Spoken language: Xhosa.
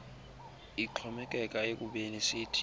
ixhomekeka ekubeni sithini